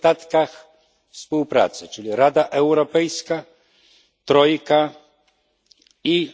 niedostatki współpracy, czyli Rada Europejska, trojka i